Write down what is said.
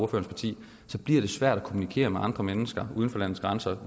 parti så bliver det svært at kommunikere med andre mennesker uden for landets grænser